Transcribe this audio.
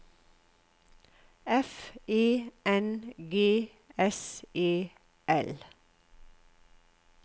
F E N G S E L